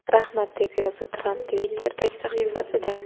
Rahmat!” deb yozdi Tramp Twitter’dagi sahifasida.